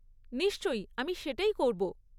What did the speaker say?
নিশ্চয়ই, আমি সেটাই করব।